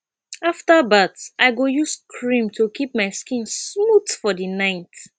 after bath i go use cream to keep my skin smooth for the night